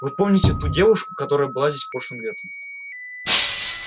вы помните ту девушку которая была здесь прошлым летом